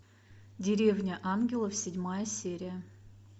деревня ангелов седьмая серия